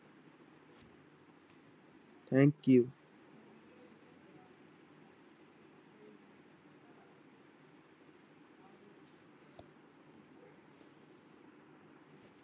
Thank you